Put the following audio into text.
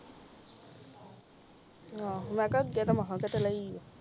ਆਹੋ ਮੈਂ ਕਿਹਾ ਅਗੇ ਤਾ ਮਹਾ ਕੀਤੇ ਲਾਇ ਆ